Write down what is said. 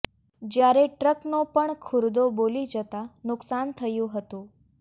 જ્યારે ટ્રકનો પણ ખુરદો બોલી જતા નુકસાન થયું હતું